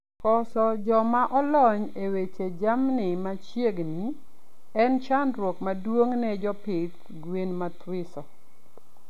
Koso jomaolony e weche jamni machiegni en chandruok maduong n Jopidh gwen mathiso